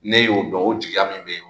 N'e y'o dɔn o jigiya min be yen nɔn.